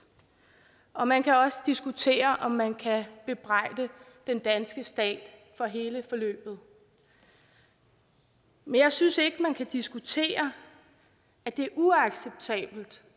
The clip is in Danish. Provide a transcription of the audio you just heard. og man kan også diskutere om man kan bebrejde den danske stat for hele forløbet men jeg synes ikke at man kan diskutere at det er uacceptabelt